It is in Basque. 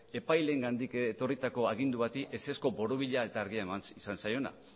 epaileengandik etorritako agindua bati ezezko borobila eta argia eman izan zaiona